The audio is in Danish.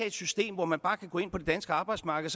et system hvor man bare kan gå ind på det danske arbejdsmarked